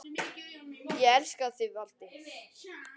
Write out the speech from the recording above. Ég elska þig, Valdi.